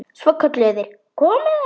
Svo kölluðu þeir: Komiði aðeins!